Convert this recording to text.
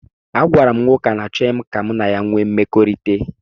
Agwara m nwoke ahụ na achọghị m ka mụ na ya wee mmekọrịta